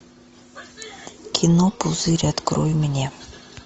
кино пузырь открой мне